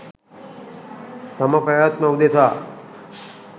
තම පැවැත්ම උදෙසා